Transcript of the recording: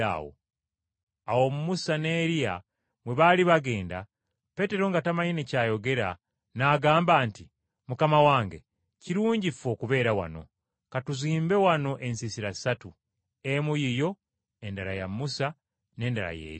Awo Musa ne Eriya bwe baali bagenda, Peetero nga tamanyi ne kyayogera, n’agamba nti, “Mukama wange kirungi ffe okubeera wano. Ka tuzimbe wano ensiisira ssatu, emu yiyo, endala ya Musa n’endala ya Eriya!”